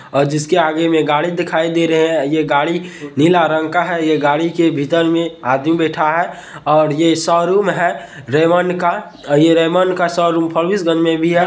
ओर जिसके आगे मे गाड़ी दिखाई दे रही है ये गाड़ी नीला रंग का है ये गाड़ी के भीतर मे आदमी बैठ है और ये सोरुम है रेमंड का और ये रेमंड का सोरुम भी है |